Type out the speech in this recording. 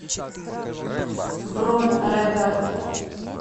бронь регард